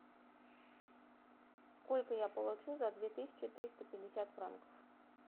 сколько я получу за две тысячи триста пятьдесят франков